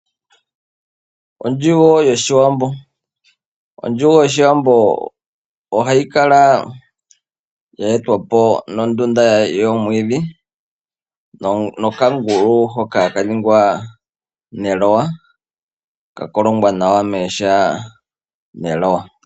Ondjugo yoshiwambo. Ondjugo yoshiwambo ohayi etwapo nondunda yi na omwiidhi nokangulu hoka haka ningwa neloya, ka kolongwa nawa mooha neloya.